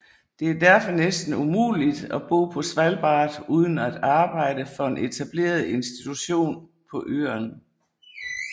Det er derfor næsten umuligt at bo på Svalbard uden at arbejde for en etableret institution på øern